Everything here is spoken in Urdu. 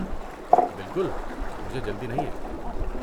بالکل، مجھے جلدی نہیں ہے۔